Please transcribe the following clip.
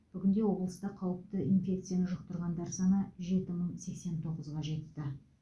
бүгінде облыста қауіпті инфекцияны жұқтырғандар саны жеті мың сексен тоғызға жетті